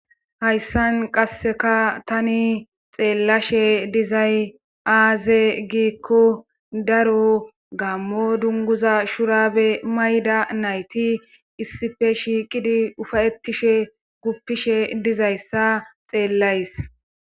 Hayssan qasseka tani xeellashe dizay aaze giikko daro gammo dunguza shurabe mayda nayti issife shiiqidi ufayetishe guppishe dizayssa xeellays.